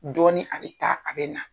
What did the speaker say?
Dɔɔnin a bɛ taa a bɛ na.